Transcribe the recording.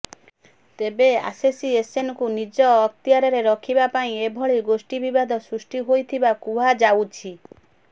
ତେବେ ଆସୋସିଏସନକୁ ନିଜ ଅକ୍ତିଆରରେ ରଖିବା ପାଇଁ ଏଭଳି ଗୋଷ୍ଠୀ ବିବାଦ ସୃଷ୍ଟି ହୋଇଥିବା କୁହାଯାଉଛି